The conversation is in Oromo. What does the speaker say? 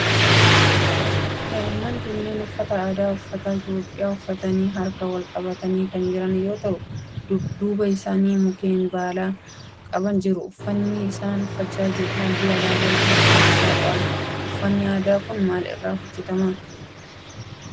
Daa'imman kunneen uffata aadaa ummata Itiyoophiyaa uffatanii harka wal qabatanii kan jiran yoo ta'u duuba isaanii mukkeen baala qaban jiru. Uffaanni isaan uffatan halluu alaabaa Itiyoophiyaa of irraa qaba. Uffanni aadaa kun maal irraa hojjetama?